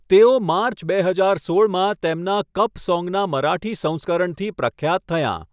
તેઓ માર્ચ બે હજાર સોળમાં તેમના 'કપ સોંગ' ના મરાઠી સંસ્કરણથી પ્રખ્યાત થયાં.